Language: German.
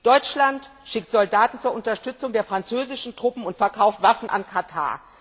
Deutschland schickt Soldaten zur Unterstützung der französischen Truppen und verkauft Waffen an Katar.